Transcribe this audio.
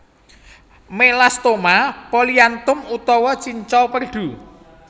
Melasthoma polyanthum utawa cincau perdu